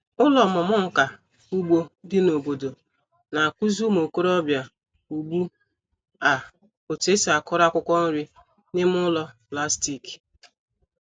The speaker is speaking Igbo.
Ụlọ ọmụmụ nka ugbo dị n'obodo na-akụzi ụmụ okorobịa ugbu a otu esi akụrụ akwụkwọ nri n'ime ụlọ plastik.